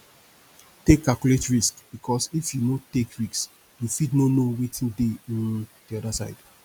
take calculate risk bikos if you no take risk you fit no no wetin dey um di oda side